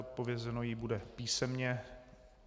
Odpovězeno jí bude písemně.